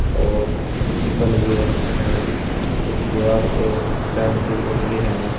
और टिफन भी रखे हैं कुछ दीवार पे पेंटिंग उतरी है।